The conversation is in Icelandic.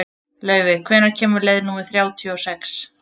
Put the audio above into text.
Laufey, hvenær kemur leið númer þrjátíu og sex?